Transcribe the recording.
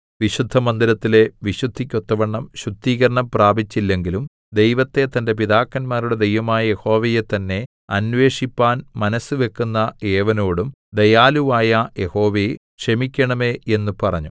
വിശുദ്ധമന്ദിരത്തിലെ വിശുദ്ധിക്കൊത്തവണ്ണം ശുദ്ധീകരണം പ്രാപിച്ചില്ലെങ്കിലും ദൈവത്തെ തന്റെ പിതാക്കന്മാരുടെ ദൈവമായ യഹോവയെ തന്നേ അന്വേഷിപ്പാൻ മനസ്സുവെക്കുന്ന ഏവനോടും ദയാലുവായ യഹോവേ ക്ഷമിക്കേണമേ എന്ന് പറഞ്ഞു